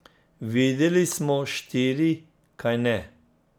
Videli smo štiri, kajne?